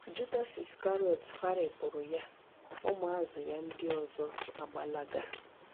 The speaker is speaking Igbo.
Judas Iskarịọt gharipuru ya, ụmụ azụ ya ndị ọzọ agbalaga